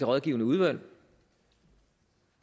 rådgivende udvalg